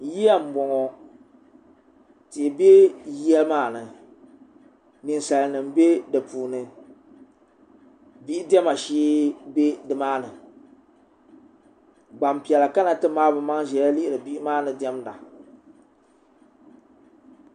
yiya n boŋo tihi bɛ yiya maa ni ninsal nim bɛ di puuni bihi diɛma shee bɛ nimaani gbanpiɛla kana ti maai bi maŋ ʒiya lihiri bihi maa ni diɛmda